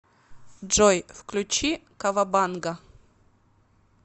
джой включи кавабанга